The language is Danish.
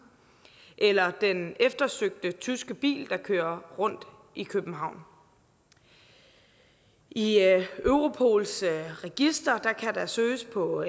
eller den eftersøgte tyske bil der kører rundt i københavn i europols register kan der søges på